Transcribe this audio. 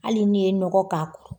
Hali n'i ye nɔgɔ k'a kan